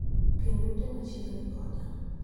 Kind ute metjo mani machiegni koda